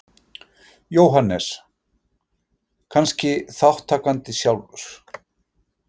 Jóhannes: Kannski þátttakandi sjálfur?